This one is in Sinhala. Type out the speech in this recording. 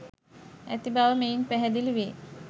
ඇති බව මෙයින් පැහැදිලි වේ.